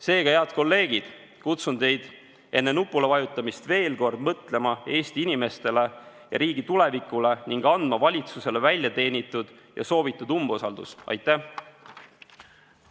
Seega, head kolleegid, kutsun teid üles enne nupule vajutamist veel kord mõtlema Eesti inimestele ja riigi tulevikule ning avaldama valitsusele väljateenitud ja soovitud umbusaldust!